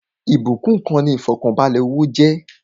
Ìbúkún kan ni ifọkanbalẹ owó jẹ́